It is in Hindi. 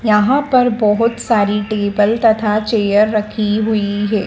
यहां पर बहोत सारी टेबल तथा चेयर रखी हुई है।